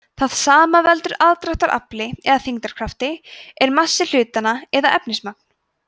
það sem veldur aðdráttarafli eða þyngdarkrafti er massi hlutanna eða efnismagn